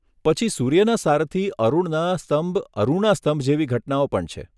પછી સૂર્યના સારથી અરુણના સ્તંભ અરુણા સ્તંભ જેવી ઘટનાઓ પણ છે.